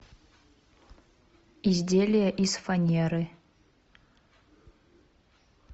изделия из фанеры